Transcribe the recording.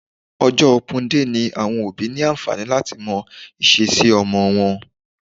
Ọjọ́ open day ni àwọn òbí ní àǹfààní láti mọ ìṣesí ọmọ wọn